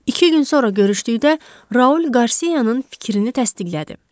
İki gün sonra görüşdükdə Raul Qarsiyanın fikrini təsdiqlədi.